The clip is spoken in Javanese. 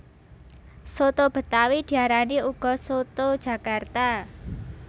Soto betawi diarani uga soto jakarta